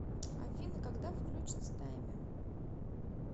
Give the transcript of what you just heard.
афина когда влючится таймер